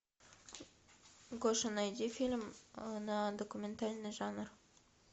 гоша найди фильм на документальный жанр